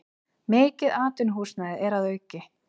Mikið atvinnuhúsnæði er að auki